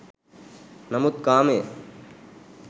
නමුත් කාමය